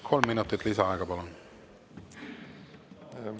Kolm minutit lisaaega, palun!